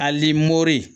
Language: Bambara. Ali mori